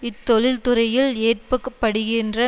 இத்தொழில்துறையில் ஏற்ப்பக்படுகின்ற